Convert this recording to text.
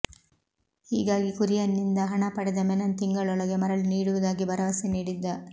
ಹೀಗಾಗಿ ಕುರಿಯನ್ ನಿಂದ ಹಣ ಪಡೆದ ಮೆನನ್ ತಿಂಗಳೊಳಗೆ ಮರಳಿ ನೀಡುವುದಾಗಿ ಭರವಸೆ ನೀಡಿದ್ದ